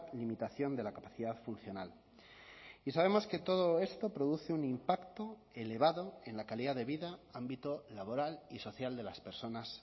limitación de la capacidad funcional y sabemos que todo esto produce un impacto elevado en la calidad de vida ámbito laboral y social de las personas